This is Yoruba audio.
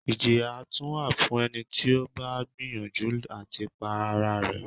Ìjìyà tún wà fún ẹni tí ó bá gbìyànjú àti pa ara rẹ̀.